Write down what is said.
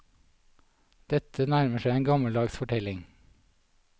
Dette nærmer seg en gammeldags fortelling.